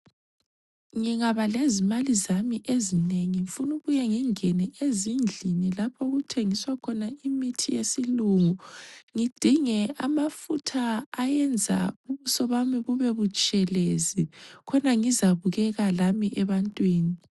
Ngingaba lezimali zami ezinengi ngifuna ukuke ngingene ezindlini lapho okuthengiswa khona imithi yesilungu, ngidinge amafutha ayenza ubuso bami bube butshelezi khona ngizabukeka lami ebantwini.